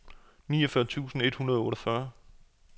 niogfyrre tusind et hundrede og otteogfyrre